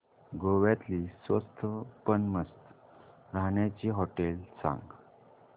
गोव्यातली स्वस्त पण मस्त राहण्याची होटेलं सांग